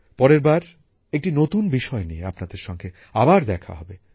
পরের বার একটি নতুন বিষয় নিয়ে আপনাদের সঙ্গে আবার দেখা হবে